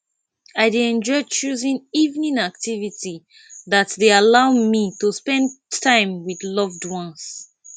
i dey enjoy choosing evening activity that dey allow me to spend time with loved ones